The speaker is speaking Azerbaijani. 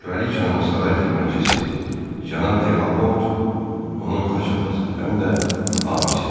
Kraliçanın saray xidmətçisi Cənab Delaport onun xaç atası, həm də hamisidir.